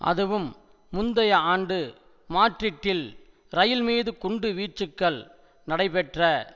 அதுவும் முந்தைய ஆண்டு மாட்ரிட்டில் இரயில்மீது குண்டுவீச்சுக்கள் நடைபெற்ற